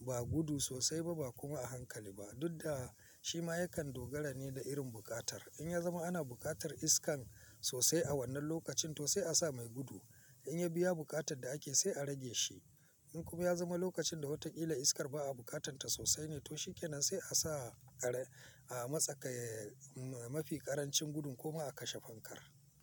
ba gudu sosai ba, ba kuma a hankali ba, duk da shi ma yakan dogara ne da irin buƙatar. In ya zama ana buƙatar iskan sosai a wannan lokacin, to sai a sa mai gudu. In ya biya buƙatar da ake, sai a rage shi. In kuma ya zama lokacin da watan illa iskar ba a buƙatanta sosai ne, to shi kenan, sai a sa a matsakaici mafi ƙarancin gudun ko ma a kashe fankar.